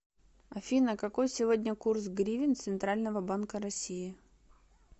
афина какой сегодня курс гривен центрального банка россии